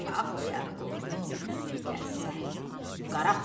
bağlayar qolunu gəlsə Qara xan.